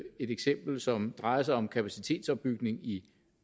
eksempel som drejer sig om kapacitetsopbygning i